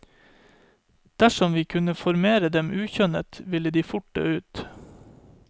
Dersom vi ikke kunne formere dem ukjønnet, ville de fort dø ut.